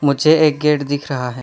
एक गेट दिख रहा है।